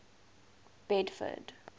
bedford